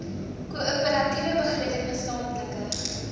koöperatiewe begroting gesamentlike